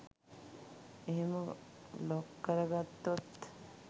එහෙම ලොක් කරගත්තොත්